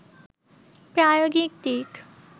প্রায়োগিক দিক